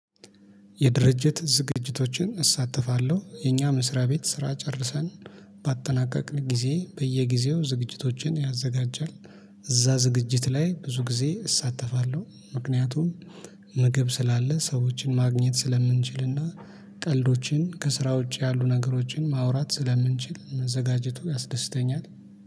የድርጅት ዝግጅቶችን እሳተፋለሁ የኛ መስሪያ ቤት ስራ ጨርሰን ባጠናቀቅን ጊዜ በየጊዜው ዝግጅቶችን ያዘጋጃል። እዛ ዝግጅት ላይ ብዙ ጊዜ እሳተፋለሁ ምክንያቱም ምግብ ስላለ ሰዎችን ማግኘት ስለምንችልና ቀልዶችን ከስራ ውጪ ያሉ ነገሮችን ማውራት ስለምንችል። መዘጋጀቱ ያስደስተኛል